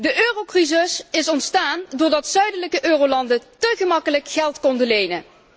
De eurocrisis is ontstaan doordat zuidelijke eurolanden te gemakkelijk geld konden lenen.